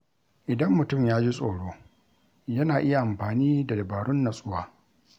Idan mutum ya ji tsoro, yana iya amfani da dabarun natsuwa.